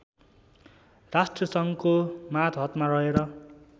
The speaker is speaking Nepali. राष्ट्रसङ्घको मातहतमा रहेर